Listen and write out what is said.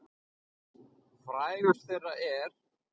Frægust þeirra er